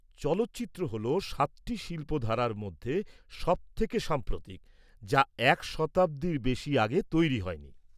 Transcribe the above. -চলচ্চিত্র হল সাতটি শিল্প ধারার মধ্যে সবথেকে সাম্প্রতিক, যা এক শতাব্দীর বেশি আগে তৈরি হয়নি।